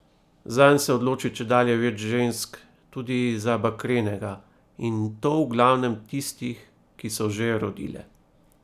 Zanj se odloči čedalje več žensk, tudi za bakrenega, in to v glavnem tistih, ki so že rodile.